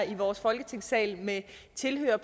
i vores folketingssal med tilhørere